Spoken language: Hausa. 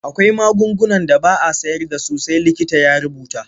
Akwai magungunan da ba a sayar da su sai likita ya rubuta.